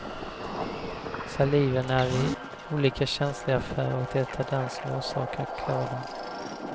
Saliven är vi olika känsliga för och det är den som orsakar klådan.